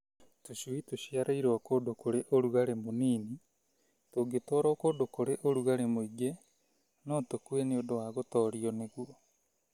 Tũcui tũciarĩirwo kũndũ kũrĩ ũrugarĩ mũnini tũngĩtwarwo kũndũ kũrĩ ũrugarĩ mũingĩ no tũkue nĩ ũndũ wa gũtorio nĩguo.